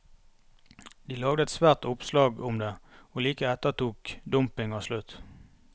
De lagde et svært oppslag om det, og like etter tok dumpinga slutt.